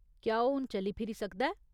क्या ओह् हून चली फिरी सकदा ऐ ?